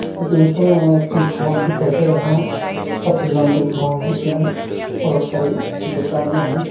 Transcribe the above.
जैसा हैं भौन दिखाई दे रहा हैं काफी लंबी भौन हैं इसमें बहुत सारी दुकानें हैं।